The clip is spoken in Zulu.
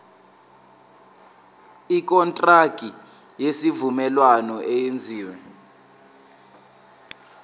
ikontraki yesivumelwano eyenziwe